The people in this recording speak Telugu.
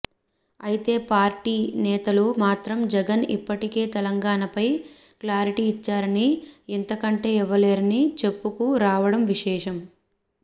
అయితే పార్టీ నేతలు మాత్రం జగన్ ఇప్పటికే తెలంగాణపై క్లారిటీ ఇచ్చారని ఇంతకంటే ఇవ్వలేరని చెప్పుకు రావడం విశేషం